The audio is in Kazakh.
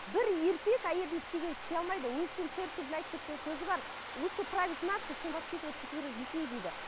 бір еркек әйелдің істегенін істей алмайды уинстон черчильдің айтып кеткен сөзі бар лучше править наций чем воспитывать четверых детей дейді